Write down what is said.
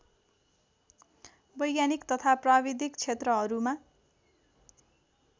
वैज्ञानिक तथा प्राविधिक क्षेत्रहरूमा